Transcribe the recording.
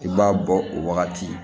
I b'a bɔ o wagati